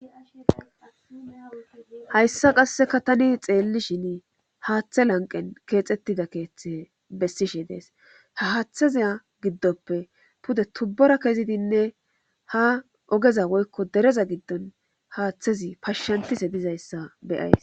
hayssa qasseka tani xeelli shin haaththe lanqen keexettida keeththe bessishe dees ha haaththazaya giddoppe pude tubbora kezidinne ha ogeza woykko dereza giddon haaththezi pashshantise dizayssa beyays